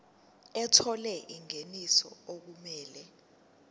ethola ingeniso okumele